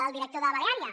el director de baleària